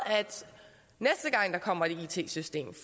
at der kommer et it system